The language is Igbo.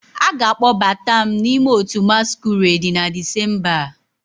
A ga-akpọbata m n'ime otu masquerade na Disemba a